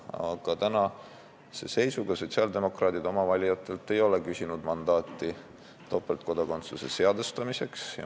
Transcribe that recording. Aga tänase seisuga sotsiaaldemokraadid ei ole oma valijatelt küsinud mandaati topeltkodakondsuse seadustamiseks.